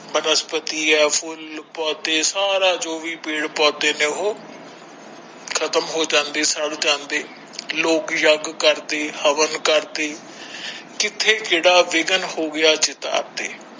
ਬਨਸਪਤੀ ਹੈ ਫੁੱਲ ਪੌਦੇ ਸਾਰਾ ਜੋ ਵੀ ਪੇੜ ਪੌਦੇ ਨੇ ਉਹ ਖ਼ਤਮ ਹੋ ਜਾਂਦੇ ਸੜ ਜਾਂਦੇ ਲੋਕ ਯਗ ਕਰਦੇ ਹਵਨ ਕਰਦੇ ਕਿੱਥੇ ਕਿਹੜਾ ਵਿਗਣ ਹੋ ਗਿਆ ਦੀਦਾਰ ਤੇ।